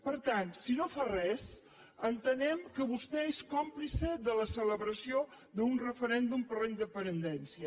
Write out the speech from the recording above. per tant si no fa res entenem que vostè és còmplice de la celebració d’un referèndum per la independència